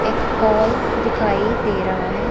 एक हॉल दिखाई दे रहा है।